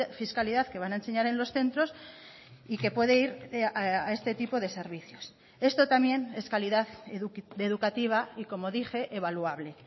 fiscalidad que van a enseñar en los centros y que puede ir a este tipo de servicios esto también es calidad educativa y como dije evaluable